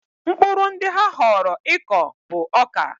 Mkpụrụ ndị ha họọrọ ịkọ bụ ọka.